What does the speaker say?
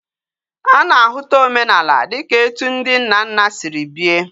Ana ahuta omenala dika etu ndi nna nna Siri bie